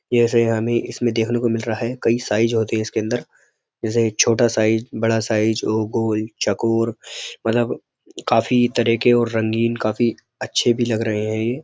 जैसे हमें इसमें देखने को मिल रहा है कई साइज़ होते हैं इसके अंदर जैसे छोटा साइज़ बड़ा साइज़ और गोल चकोर मतलब काफ़ी तरह के और रंगीन काफ़ी अच्छे भी लग रहे हैं ये।